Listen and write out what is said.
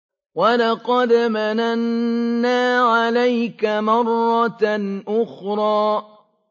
وَلَقَدْ مَنَنَّا عَلَيْكَ مَرَّةً أُخْرَىٰ